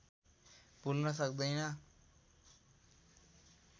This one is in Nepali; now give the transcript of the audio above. भुल्न सक्दैन